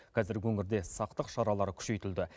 қазір өңірде сақтық шаралары күшейтілді